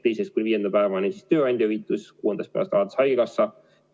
Teisest kuni viienda päevani maksaks siis tööandja, kuuendast päevast alates haigekassa.